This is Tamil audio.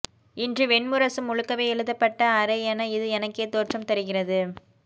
இன்று வெண்முரசு முழுக்கவே எழுதப்பட்ட அறை என இது எனக்கே தோற்றம் தருகிறது